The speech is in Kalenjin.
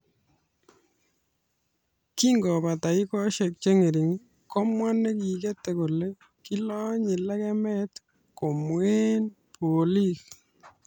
Kingobata dakikaishek cheng'ering komwa nekiketei kole kilonye lekemet komwee boliik,"kitesyi.